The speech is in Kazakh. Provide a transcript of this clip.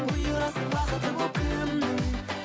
бұйырасың бақыты боп кімнің